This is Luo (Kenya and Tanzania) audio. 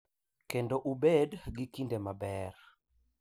Kendo ubed gi kinde maber.